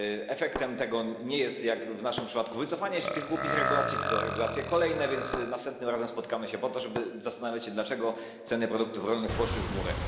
Efektem tego nie jest, jak w naszym przypadku, wycofanie się z tych głupich regulacji, tylko regulacje kolejne, więc następnym razem spotkamy się po to, żeby zastanawiać się, dlaczego ceny produktów rolnych poszły w górę.